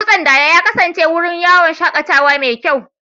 Dutsen Dala ya kasance wurin yawon shakatawa mai kyau.